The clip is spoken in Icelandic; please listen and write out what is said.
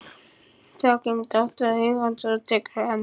Þá kemur dóttir eigandans og tekur við af henni.